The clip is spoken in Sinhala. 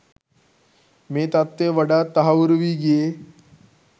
මේ තත්ත්වය වඩාත් තහවුරු වී ගියේ